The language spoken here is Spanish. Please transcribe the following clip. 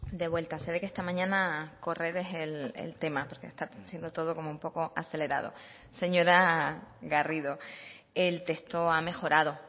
de vuelta se ve que esta mañana correr es el tema porque está siendo todo como un poco acelerado señora garrido el texto ha mejorado